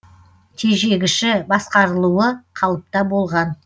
тежегіші басқарылуы қалыпта болған